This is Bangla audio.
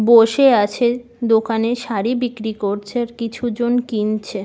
বসে আছে দোকানে শাড়ী বিক্রি করছে আর কিছু জন কিনছে।